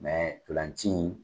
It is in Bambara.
tolanci in.